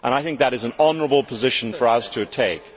I think that is an honourable position for us to take.